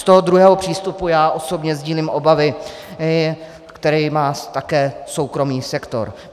Z toho druhého přístupu já osobně sdílím obavy, které má také soukromý sektor.